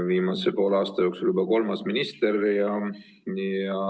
Viimase poole aasta jooksul on nüüd juba kolmas minister.